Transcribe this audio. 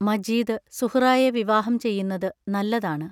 മജീദ് സുഹ്റായെ വിവാഹം ചെയ്യുന്നതു നല്ലതാണ്.